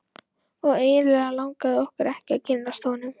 Og eiginlega langaði okkur ekki að kynnast honum.